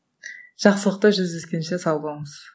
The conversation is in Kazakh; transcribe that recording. жақсылықта жүздескенше сау болыңыз